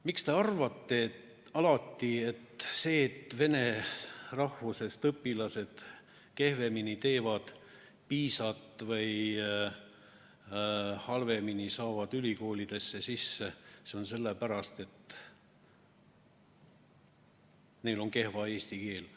Miks te alati arvate, et põhjus, miks vene rahvusest õpilased teevad kehvemini PISA-teste või saavad halvemini ülikoolidesse sisse, on selles, et neil on kehv eesti keele oskus?